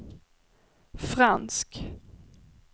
fransk